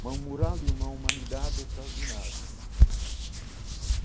Uma mural de uma humanidade extraordinária.